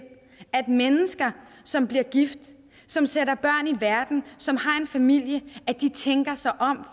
at mennesker som bliver gift som sætter børn i verden og som har en familie tænker sig om